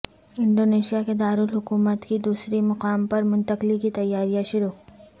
Indonesia کے دارالحکومت کی دوسری مقام پر منتقلی کی تیاریاں شروع